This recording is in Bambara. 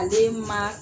Ale ma